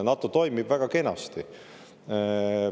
NATO toimib väga kenasti.